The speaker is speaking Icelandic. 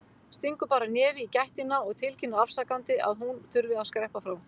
Stingur bara nefi í gættina og tilkynnir afsakandi að hún þurfi að skreppa frá.